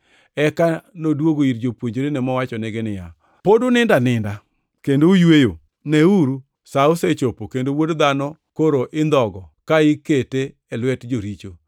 Eka noduogo ir jopuonjrene mowachonegi niya, “Pod unindo aninda kendo uyweyo? Neuru, sa osechopo, kendo Wuod Dhano koro indhogo ka ikete e lwet joricho.